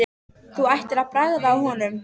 Þú ættir að bragða á honum